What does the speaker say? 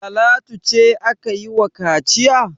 Talatu ce aka yi wa kaciya?